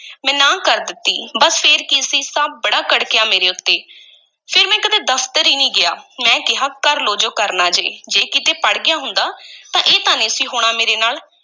ਮੈਂ ਨਾਂਹ ਕਰ ਦਿੱਤੀ, ਬੱਸ ਫੇਰ ਕੀ ਸੀ, ਸਾਬ੍ਹ ਬੜਾ ਕੜਕਿਆ ਮੇਰੇ ਉੱਤੇ, ਫੇਰ ਮੈਂ ਕਦੀ ਦਫ਼ਤਰ ਈ ਨਹੀਂ ਗਿਆ, ਮੈਂ ਕਿਹਾ, ਕਰ ਲਵੋ ਜੋ ਕਰਨਾ ਜੇ, ਜੇ ਕਿਤੇ ਪੜ੍ਹ ਗਿਆ ਹੁੰਦਾ ਤਾਂ ਇਹ ਤਾਂ ਨਹੀਂ ਸੀ ਹੋਣਾ ਮੇਰੇ ਨਾਲ।